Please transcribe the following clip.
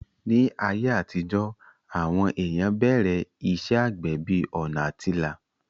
Ní ayé àtijó, àwọn èèyàn bẹ̀rẹ̀ iṣẹ́ àgbẹ̀ bí ọ̀nà àtilà